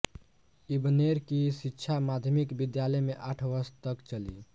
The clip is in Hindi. इब्नेर की शिक्षा माध्यमिक विद्यालय मे आठ वर्ष तक चली